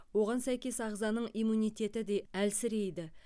оған сәйкес ағзаның иммунитеті де әлсірейді